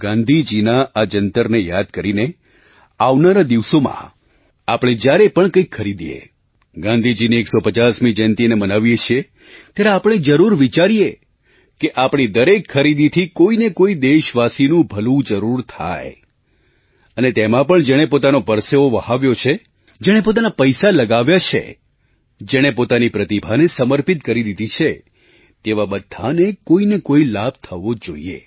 ગાંધીજીના આ જંતરને યાદ કરીને આવનારા દિવસોમાં આપણે જ્યારે પણ કંઈક ખરીદીએ ગાંધીજીની 150મી જયંતીને મનાવીએ છીએ ત્યારે આપણે જરૂર વિચારીએ કે આપણી દરેક ખરીદીથી કોઈ ને કોઈ દેશવાસીનું ભલું જરૂર થાય અને તેમાં પણ જેણે પોતાનો પરસેવો વહાવ્યો છે જેણે પોતાના પૈસા લગાવ્યા છે જેણે પોતાની પ્રતિભાને સમર્પિત કરી દીધી છે તેવા બધાને કોઈ ને કોઈ લાભ થવો જોઈએ